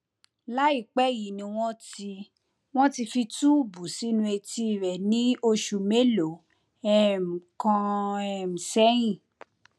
láìpẹ yìí ni wọn ti wọn ti fi túùbù sínú etí rẹ ní oṣù mélòó um kan um sẹyìn